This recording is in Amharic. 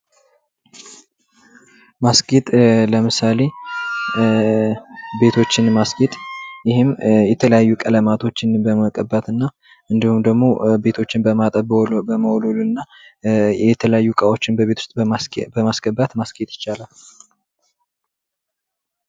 ማስጌጥ ለምሳሌ ቤቶችን ማስጌጥ ይህም የተለያየ ይህም የተለያዩ ቀለማቶችን በመቀባትና ቤቶችን በመወልወል የተለያዩ እቃዎችን ቤቶች ውስጥ በማስገባት ማስጌጥ ይቻላል።